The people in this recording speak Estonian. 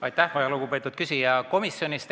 Aitäh, väga lugupeetud küsija!